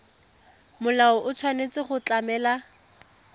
molao o tshwanetse go tlamela